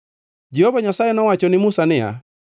Jehova Nyasaye nowacho ni Musa niya,